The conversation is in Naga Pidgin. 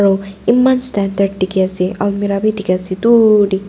aro iman standard dikhi ase almirah bi dikhi ase dur tey.